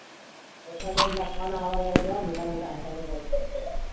આ assignment લખાનબ આવ યાર કેવા મોટા મોટ assignment હોય યાર હું લખ assignment માં? assignment મોથી લખો.